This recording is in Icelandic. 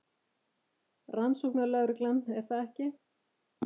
Rannsóknarlögreglan, er það ekki?